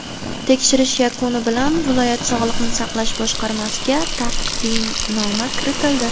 Tekshirish yakuni bilan viloyat Sog‘liqni saqlash boshqarmasiga taqdimnoma kiritildi.